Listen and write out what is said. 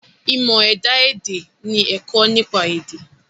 Ìmọ̀ ẹ̀dá èdè ni ẹ̀kọ́ nípa èdè.